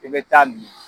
I bɛ taa min